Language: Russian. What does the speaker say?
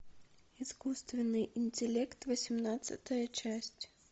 искусственный интеллект восемнадцатая часть